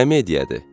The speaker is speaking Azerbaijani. Qəmediyadır.